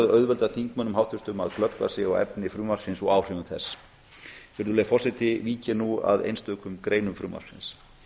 auðvelda háttvirtum þingmönnum að glöggva sig á efni frumvarpsins og áhrifum þess virðulegi forseti vík ég nú að einstökum greinum frumvarpsins